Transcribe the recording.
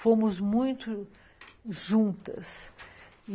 Fomos muito juntas.